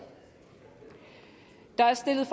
der er stillet